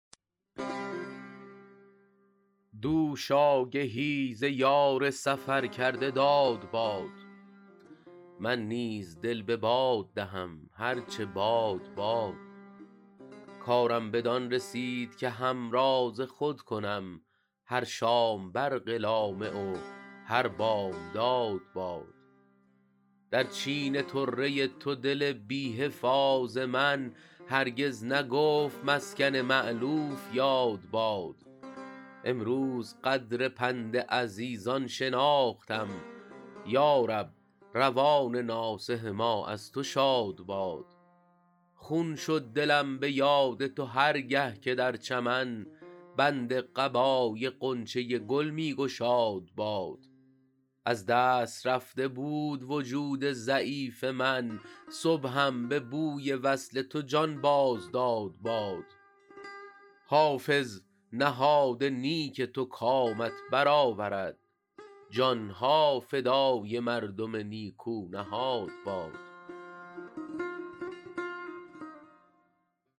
دوش آگهی ز یار سفر کرده داد باد من نیز دل به باد دهم هر چه باد باد کارم بدان رسید که همراز خود کنم هر شام برق لامع و هر بامداد باد در چین طره تو دل بی حفاظ من هرگز نگفت مسکن مألوف یاد باد امروز قدر پند عزیزان شناختم یا رب روان ناصح ما از تو شاد باد خون شد دلم به یاد تو هر گه که در چمن بند قبای غنچه گل می گشاد باد از دست رفته بود وجود ضعیف من صبحم به بوی وصل تو جان باز داد باد حافظ نهاد نیک تو کامت بر آورد جان ها فدای مردم نیکو نهاد باد